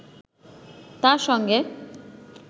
তাঁর সঙ্গে